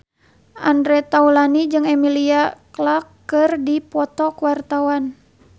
Andre Taulany jeung Emilia Clarke keur dipoto ku wartawan